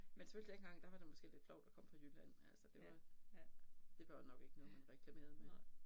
Men selvfølgelig dengang der var det måske lidt flovt at komme fra Jylland altså det var det var jo nok ikke noget man reklamerede med